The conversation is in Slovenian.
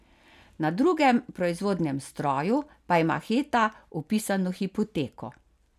Na drugem proizvodnem stroju pa ima Heta vpisano hipoteko.